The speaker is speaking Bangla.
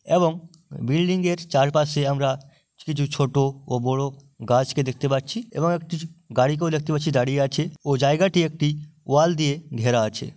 এবং বিল্ডিং - এর চারপাশে আমরা কিছু ছোট ও বড় গাছকে দেখতে পাচ্ছি | এবং একটি গাড়ি কেউ দেখতে পাচ্ছি দাঁড়িয়ে আছে | ও জায়গাটি একটি ওয়াল দিয়ে ঘেরা আছে ।